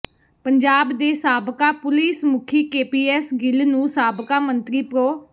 ਪੰਜਾਬ ਦੇ ਸਾਬਕਾ ਪੁਲੀਸ ਮੁਖੀ ਕੇਪੀਐੱਸ ਗਿੱਲ ਨੂੰ ਸਾਬਕਾ ਮੰਤਰੀ ਪ੍ਰੋ